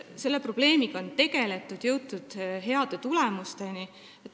Selle probleemiga on tegeldud ja on jõutud headele tulemustele.